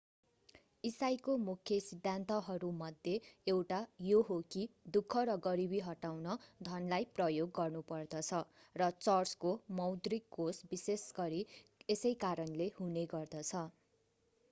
इसाईको मुख्य सिद्धान्तहरूमध्ये एउटा यो हो कि दुःख र गरीबी हटाउन धनलाई प्रयोग गर्नुपर्दछ र चर्चको मौद्रिक कोष विशेषगरी यसै कारणले हुने गर्दछ